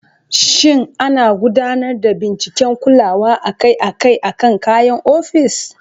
Shin ana gudanar da binciken kulawa akai-akai akan kayan ofis?